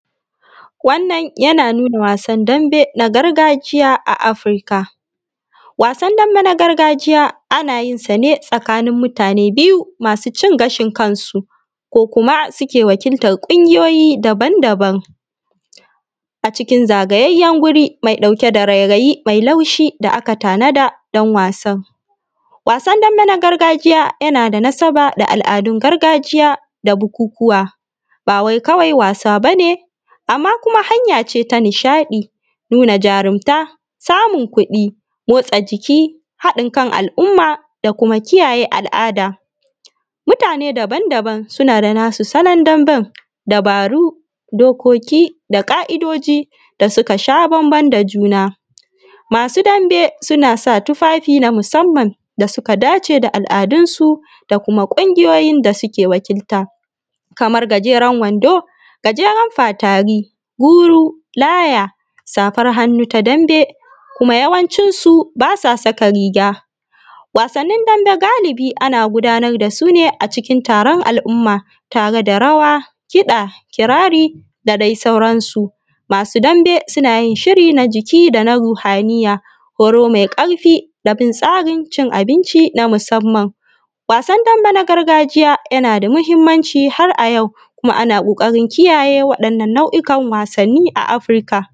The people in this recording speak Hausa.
Wannan yana nuunaa wasan dambe na gargajiya a Afirka. Wannan yana nuunaa wasan dambe na gargajiya a Afirka. Wasan dambe na gargajiya ana yin sa ne tsakanin mutane biyu masuu cin gashin kansu, ko kuma suke wakiltar ƙungiyoyi daban-daban. A cikin zagayayyen wuri mai ɗauke da rairayi mai laushi da aka tanada don wasan. Wasan dambe na gargajiya yana da nasaba da al’adun gargajiya da bukukuwa, ba wai kawai wasa bane. Amma kuma hanya ce ta nishaɗi, nuunaa jarumta, samun kuɗi, motsa jiki, haɗin kan al’umma, da kuma kijaje al’ada. Mutane daban-daban suna da nasu salon damben da dabaru, dokoki da ƙa’idoji da suka sha bambam da juna. Masu dambe suna sa tufafi na musamman da suka dace da al’adunsu da kuma ƙungiyoyin da suke wakilta, kamar gajeren wando, gajeren faataari, guru, laja, safar hannu ta dambe. Kuma yawancinsu ba sa saka riga. Wasannin dambe galiibi ana gudanar da su ne acikin taaron al’umma, tare da rawa, kiɗa, kiraarii, da dai sauransu. Masu dambe suna yin shiri na jiki da kuma na ruuhaniyya, horo mai ƙarfin da bin tsarin cin abinci na musamman. Wasan dambe na gargajiya yana da muhimmanci har a jau, kuma ana ƙoƙarin kiyaye waɗannan nau’ukan wasanni a Afirka.